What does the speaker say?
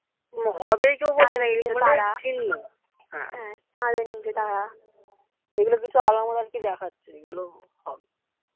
হবেই এই গুল কেউ কিছু বলছে না এইগুলো কিছু আলামত আর কি দেখাচ্ছে যে গুলো হবে